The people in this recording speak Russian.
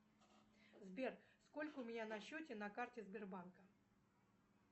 сбер сколько у меня на счете на карте сбербанка